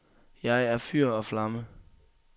Jeg er fyr og flamme.